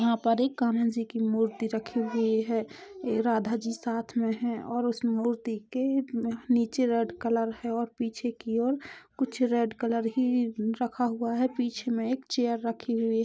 यहाँ पर एक कान्हा जी की मूर्ति रखी हुई है ये राधा जी साथ में है और उस मूर्ति के नीचे रेड कलर है और पिछे की ओर कुछ रेड कलर ही रखा हुआ है बीच में एक चेयर रखी हुई--